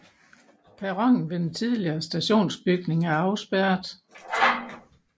Perronen ved den tidligere stationsbygning er afspærret